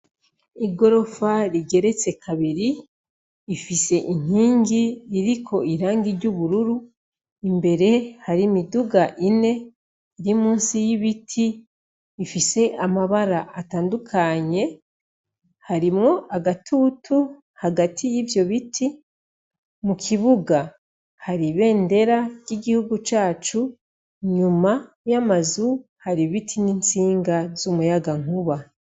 Igorofa rigeretse kabiri, ifise inkingi ririko irangiry' ubururu, imbere hari miduga ine irimusi y'ibiti ifise amabara atandukanye, harimwo agatutu hagati y'ivyo bitimu ikibuga hari bendera ry'igihugu cacu nyuma y'amazu haribiti n'intsinga z'umuyaga nkuba.